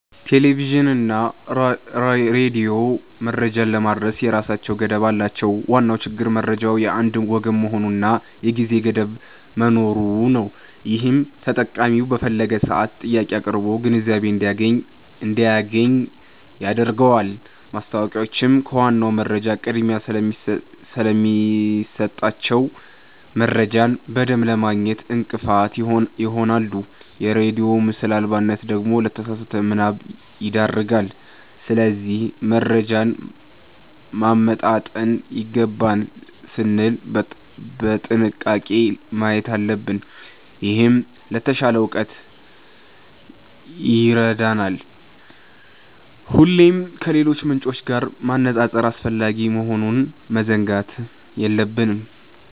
ቴሌቪዥንና ሬዲዮ መረጃን ለማድረስ የራሳቸው ገደብ አላቸው። ዋናው ችግር መረጃው የአንድ ወገን መሆኑና የጊዜ ገደብ መኖሩ ነው፤ ይህም ተጠቃሚው በፈለገው ሰዓት ጥያቄ አቅርቦ ግንዛቤ እንዳያገኝ ያደርገዋል። ማስታወቂያዎችም ከዋናው መረጃ ቅድሚያ ስለሚሰጣቸው፣ መረጃን በደንብ ለማግኘት እንቅፋት ይሆናሉ። የሬዲዮ ምስል አልባነት ደግሞ ለተሳሳተ ምናብ ይዳርጋል። ስለዚህ መረጃን ማመጣጠን ይገባል ስንል በጥንቃቄ ማየት አለብን፤ ይህም ለተሻለ እውቀት ይረዳናል። ሁሌም ከሌሎች ምንጮች ጋር ማነጻጸር አስፈላጊ መሆኑን መዘንጋት የለብንም።